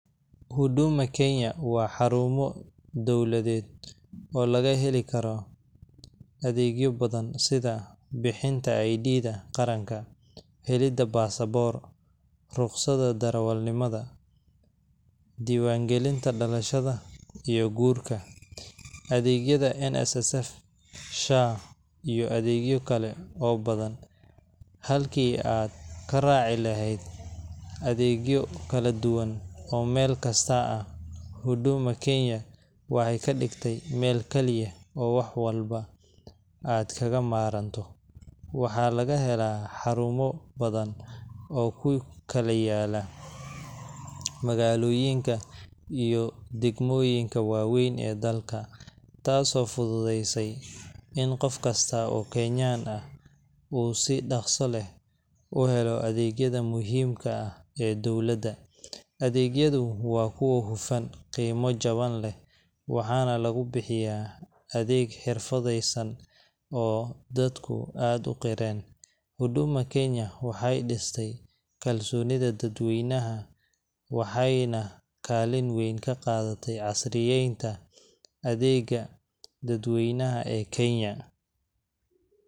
Huduma kenya wa xarumo dowladed, oo lagaxelikaro adegyo badan, sidha bixinta id qaranka, xelida passport rusqada darawal nimada, diwan galinta dalashada, iyo gurka, adegyada NSSF SHA iyo adegyo kale oo badan, xalki aad karaci laxed, adegyo kaladuwan oo melkasta ah, huduma kenya waxay kadigtay mel kaliyax oo wax walba aad kagamarmato, waxa lagaxela xarumo badan, oo kukala yala magaloyinka, iyo dagmoyinka wawen ee dalka, taas oo fududeysey in gofkasta oo kenyan ah u si dagso leh uxelo adegyada muxiimka ah ee dowlada, adegyadu wa kuwa xufaan, qiimo jawan leh, waxa lagubixiya adeg xirfadeysan oo dadku aad uqireen, huduma kenya waxay distay kalsonida dad weynaxa , wxayna kaliin weyn kaqadatay casriyen ta adega dadwey naxa ee kenya.